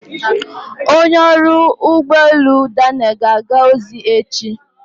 Onye ọrụ ụgbọ elu Daniel ga-aga ozi echi.